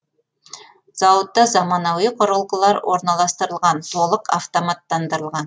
зауытта замануи құрылғылар орналастырылған толық автоматтандырылған